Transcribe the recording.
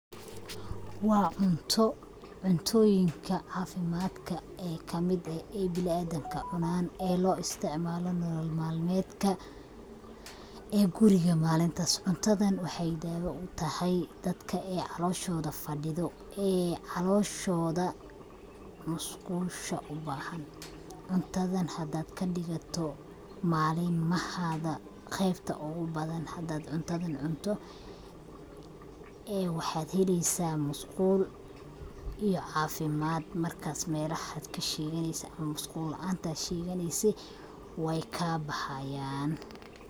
Waa cunto cuntoyinka caafimadka en kamid eh bini adamka cunan ee loo isticmaalo nolol malmedka ee guriga malintaas, cuntadan waxay daawa utahay dadka ay caloshoda fadhido ee caloshoda musqusha ubaahan, cuntada hadad kadhigato malmahaaga qeybta ogu badan hadad cuntadan cunto ee waxad heleysa musqul iyo caafimad markas malahad kasheeganeysid musqul laantad sheganeysid wayka baxayan.